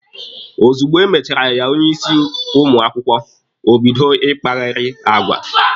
Ozugbo e mechara ya onye isi ụmụ akwụkwọ, o bido ịkpagheri agwa.